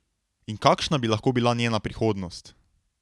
In kakšna bi lahko bila njena prihodnost?